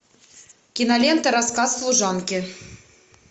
кинолента рассказ служанки